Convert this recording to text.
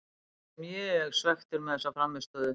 Ég er mjög svekktur með þessa frammistöðu.